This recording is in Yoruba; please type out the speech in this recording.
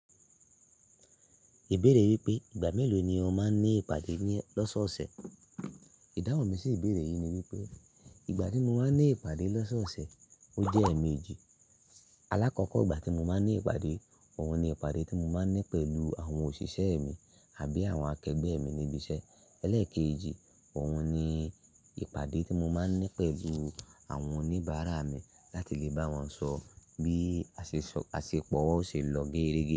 Ìbéèrè wípé ìgbà mélòó ni o máa ń ní ìpàdé ní ọ̀sọ̀ọ̀sẹ̀? Ìdáhùn mi sì ìbéèrè yìí ni wípé ìgbà tí mo máa ń ní ìpàdé lọ́sọ̀ọ̀sẹ̀, ó jẹ́ èemí èjì. Alákọ̀ọ́kọ́ ìgbà tí mo máa ń ní ìpàdé, òun ni ìpàdé tí mo máa ń ní pẹ̀lú àwọn òṣìṣẹ́ mi àbí àwọn akẹgbẹ́ mi níbi iṣẹ́. Eléèkéjì, òun ni ìpàdé tí mo máa ń ní pẹ̀lú àwọn oníbàárà mi láti lè bá wọn sọ bí àṣepọ̀ wa ó ṣe ń lọ géérégé.